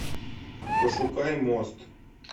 пошукай мост